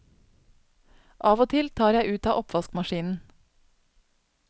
Av og til tar jeg ut av oppvaskmaskinen.